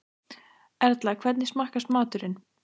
Erla, hvernig smakkast maturinn?